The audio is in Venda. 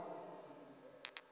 mb o ḓi ṅwethuwa u